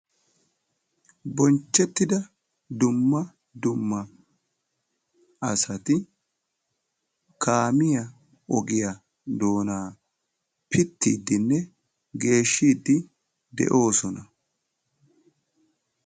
Bonchchettidda dumma dumma asatti kaamiya ogiya pittiddinne geeshshiddinne de'osonna.